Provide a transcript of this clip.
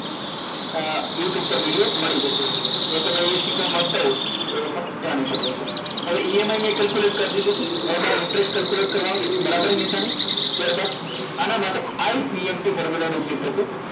youtube પર video મળી જશે જો તમે એ શીખવા માગતા હો તો એ પણ જાણી શકો છો હવે EMI મેં calculate કરી દીધો છે હવે મારે interest calculate કરવાનો છે તો બરાબર ની નિશાની ત્યારબાદ આના માટે ipmt formula નો ઉપયોગ થશે